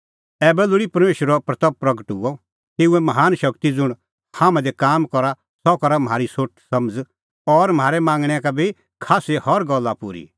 ऐबै लोल़ी परमेशरे महिमां हुई तेऊए महान शगती ज़ुंण हाम्हां दी काम करा सह सका म्हारी सोठ समझ़ और म्हारै मांगणैं का बी खास्सी हर गल्ला पूरी करी